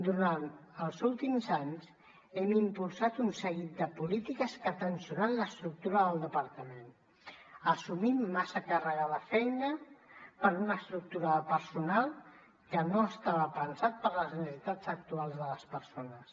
durant els últims anys hem impulsat un seguit de polítiques que han tensionat l’estructura del departament hem assumit massa càrrega de feina per una estructura de personal que no estava pensada per a les necessitats actuals de les persones